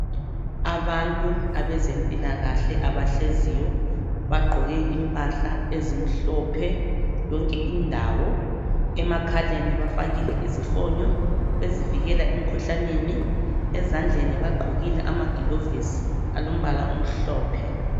Abantu abezempilakahle abahleziyo bagqoke impahla ezimhlophe yonke indawo, emakhaleni bafakile izifonyo ezivikela emikhuhlaneni, ezandleni bagqokile amagilovisi alombala omhlophe.